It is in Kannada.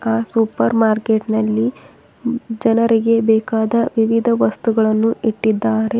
ಆ ಸೂಪರ್ ಮಾರ್ಕೆಟ್ ನಲ್ಲಿ ಜನರಿಗೆ ಬೇಕಾದ ವಿವಿಧ ವಸ್ತುಗಳನ್ನು ಇಟ್ಟಿದ್ದಾರೆ.